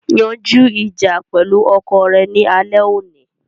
Yanju ija pẹlu ọkọ rẹ ni alẹ oni